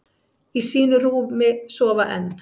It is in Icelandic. Í sínu rúmi sofa enn,